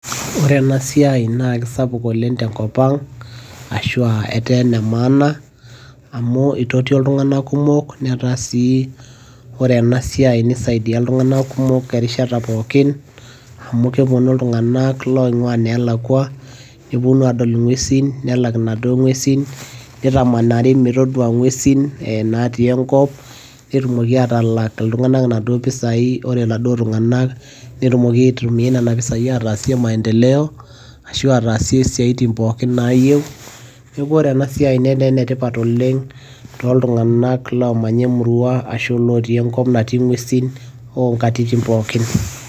ore ena siai naa kisapuk oleng tenkop ang ashu aa etaa ene maana. amu itotio iltunganak kumok netaa sii, ore ena siai nisaidia iltunganak kumok enkata pookin, amu kepuonu iltunganak loing'uaa ineelakua, nepuonu aadol ing'uesin, nelak inaduoo ng'uesin, nitamanari metoduaa ing'uesin natii enkop, netumoki aataalak iltunganak iimpisai, ore inaduoo pisai neesieki maendeleo. ashu aatasie isiatin pookin naayieu, neeku ore ena siiai netaa ene tipat oleng tooltunganak omanya emurua natii ing'uesin oo nkatitin pookin.